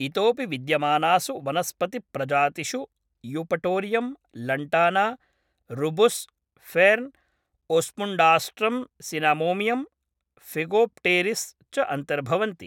इतोऽपि विद्यमानासु वनस्पतिप्रजातिषु eupatorium, lantana, rubus, fern, osmundastrum cinnamomeum, phegopteris च अन्तर्भवन्ति।